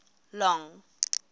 long